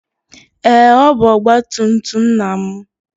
Ee, ọ bụ ọgba tum tum nna m.